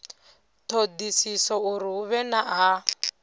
thodisiso uri hu vhe ha